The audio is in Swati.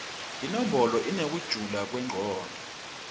imibono inekujula kwemcondvo